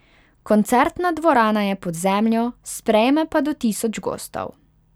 Koncertna dvorana je pod zemljo, sprejme pa do tisoč gostov.